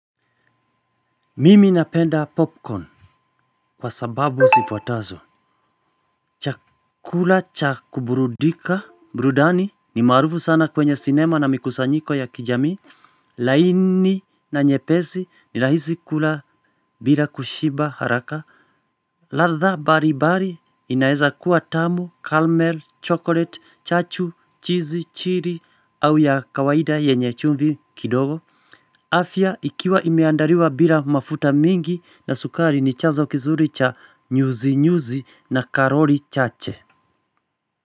Mimi napenda popcorn, kwa sababu zifuatazo. Chakula cha kuburudika, burudani ni maarufu sana kwenye sinema na mikusanyiko ya kijamii. Laini na nyepesi, ni rahisi kula bila kushiba haraka. Ladha mbalimbali inaeza kuwa tamu, caramel, chocolate, chachu, cheese, chili au ya kawaida yenye chumbi kidogo. Afya, ikiwa imeandaliwa bila mafuta mingi, na sukari ni chazo kizuri cha nyuzi nyuzi na karoli chache.